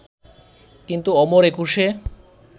কিন্তু অমর একুশে